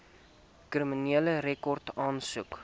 kriminele rekord aansoek